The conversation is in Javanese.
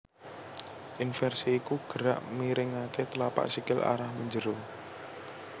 Inversi iku gerak miringaké tlapak sikil arah menjero